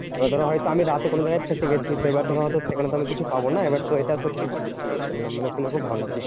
এবার ধরো হয়তো আমি রাতে কোনো জায়গায় ফেঁসে গেছি। তো এবার ধরো হয়তো সেখানে তো আমি কিছু পাবো না, এবার তো এটা সত্যি খুব ভালো শুনলাম। মানে শুনে খুব ভালো লাগলো।